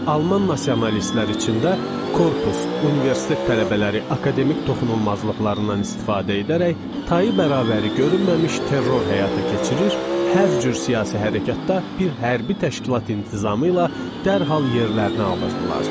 Alman nasionalistlər içində korpus, universitet tələbələri akademik toxunulmazlıqlarından istifadə edərək, tayı bərabəri görünməmiş terror həyata keçirir, hər cür siyasi hərəkətdə bir hərbi təşkilat intizamı ilə dərhal yerlərini alırdılar.